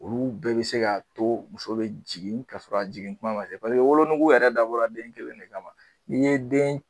Olu bɛɛ bɛ se k'a to muso bɛ jigin ka sɔrɔ jigin kuma ma paseke wolo nugu yɛrɛ dabɔra den kelen de kama ni ye den